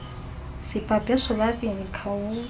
sibhabhe sobabini khawuze